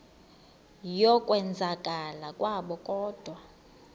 yokwenzakala kwabo kodwa